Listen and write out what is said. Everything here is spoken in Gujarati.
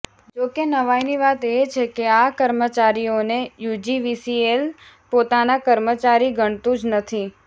જોકે નવાઈની વાત એ છે કે આ કર્મચારીઓને યુજીવીસીએલ પોતાના કર્મચારી ગણતું જ નથી